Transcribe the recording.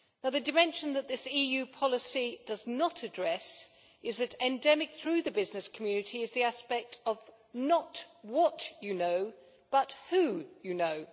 The dimension that this EU policy does not address is that endemic through the business community is the aspect of not you know, but you know'.